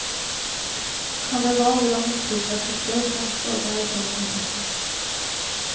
Han är van vid de misstrogna blickar som sådana uttalanden väcker.